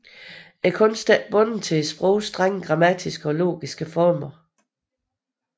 Kunsten er ikke bundet til sprogets strenge grammatiske og logiske former